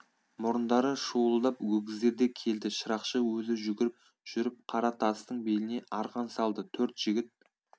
мұрындары шуылдап өгіздер де келді шырақшы өзі жүгіріп жүріп қара тастың беліне арқан салды төрт жігіт